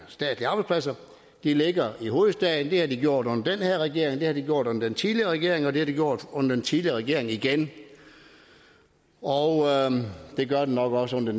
statslige arbejdspladser ligger i hovedstaden det har de gjort under den her regering det har de gjort under den tidligere regering og det har de gjort under den tidligere regering igen og det gør de nok også under